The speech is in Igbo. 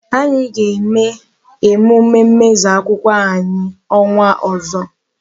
Anyị ga-eme emume mmezu agụmakwụkwọ anyị ọnwa ọzọ.